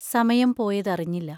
സമയം പോയതറിഞ്ഞില്ല.